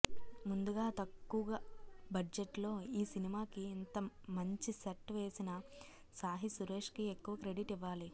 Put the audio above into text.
ముందుగా తక్కువ బడ్జెట్ లో ఈ సినిమాకి ఇంతమంచి సెట్ వేసిన సాహి సురేష్ కి ఎక్కువ క్రెడిట్ ఇవ్వాలి